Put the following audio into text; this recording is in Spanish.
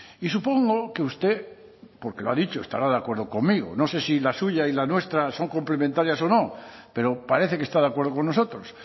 y supongo que usted porque lo ha dicho estará de acuerdo conmigo no sé si la suya y la nuestra son complementarias o no pero parece que está de acuerdo con nosotros